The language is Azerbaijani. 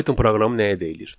Python proqramı nəyə deyilir?